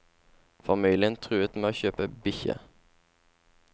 Familien truet med å kjøpe bikkje.